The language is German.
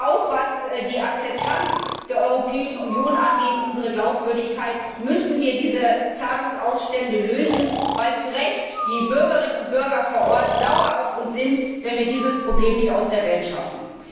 Auch im Interesse der Akzeptanz der Europäischen Union und unserer Glaubwürdigkeit müssen wir diese Zahlungsausstände lösen, weil die Bürgerinnen und Bürger vor Ort zu Recht sauer auf uns sind, wenn wir dieses Problem nicht aus der Welt schaffen.